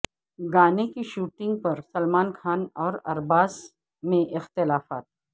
گانے کی شوٹنگ پر سلمان خان اور ارباز میں اختلافات